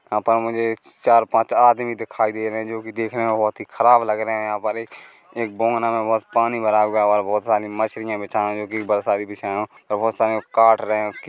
यहाँ पर मुझे चार पांच आदमी दिखाई दे रहे है जोकि देखने में बहुत ही खराब लग रहे हैं यहाँ पर एक एक बगोना में बोहोत पानी भरा हुआ है और बहुत सारी मछलियाँ बेझाये हुए जोकि बहुत सारी बिछाये हुए और बोहोत सारी को काट रहे है।